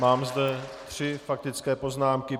Mám zde tři faktické poznámky.